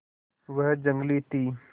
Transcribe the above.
वह जंगली थी